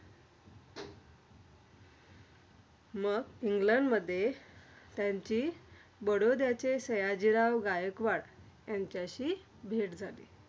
मग इंगलंडमध्ये त्यांची बडोद्याचे सयाजीराव गायकवाड यांच्याशी भेट झाली.